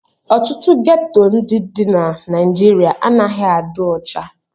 Ọtụtụ geto ndị dị na Naịjirịa anaghị adị ọcha.